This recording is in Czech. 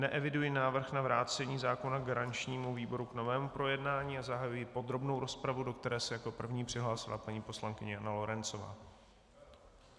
Neeviduji návrh na vrácení zákona garančnímu výboru k novému projednání a zahajuji podrobnou rozpravu, do které se jako první přihlásila paní poslankyně Jana Lorencová.